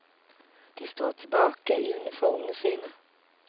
De står tilbake i uniformene sine.